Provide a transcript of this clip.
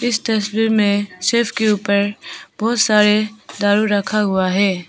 इस तस्वीर में सेफ के ऊपर बहुत सारे दारू रखा हुआ है।